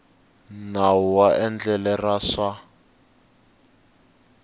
nawu wa endlele ra swa